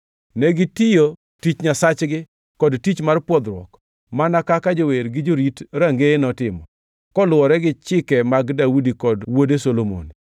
Negitiyo tich Nyasachgi kod tich mar pwodhruok, mana kaka jower gi jorit Rangeye notimo, kaluwore gi chike mag Daudi kod wuode Solomon.